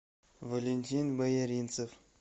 валентин бояринцев